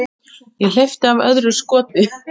Ég hleypti af öðru skoti.